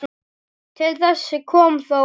Til þess kom þó ekki.